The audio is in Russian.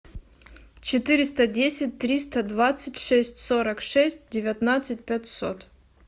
четыреста десять триста двадцать шесть сорок шесть девятнадцать пятьсот